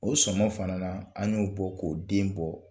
O sɔmɔ fana na an y'o bɔ k'o den bɔ.